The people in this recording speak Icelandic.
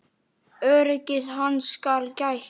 Öryggis hans skal gætt.